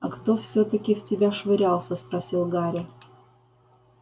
а кто всё-таки в тебя швырялся спросил гарри